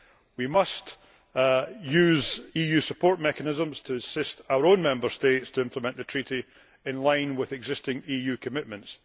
We must use EU support mechanisms to assist our own Member States to implement the Treaty in line with existing EU commitments.